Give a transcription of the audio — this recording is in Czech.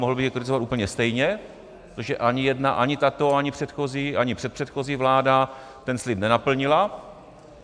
Mohl bych ji kritizovat úplně stejně, protože ani jedna, ani tato, ani předchozí, ani předpředchozí vláda ten slib nenaplnila.